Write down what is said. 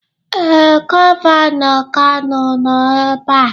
Ee, gọvanọ Kano nọ ebe a.